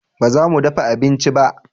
Ba za mu dafa abinci ba